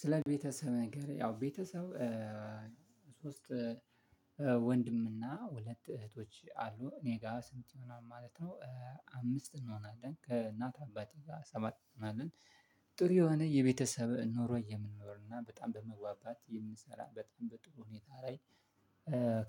ስለ ቤተሰብ ነገር ያው ቤተሰብ ሶስት ወንድምና ሁለት እህቶች አሉ እኔ ጋር ስንት ይሆናል ማለት ነው? አምስት እንሆናለን ከእናት አባቴ ጋር ሰባት እንሆናለን። ጥሩ የሆነ የቤተሰብ ኖሮ የምንኖርና በጣም በመግባባት የምንሰራ በጣም በጥሩ ሁኔታ ላይ።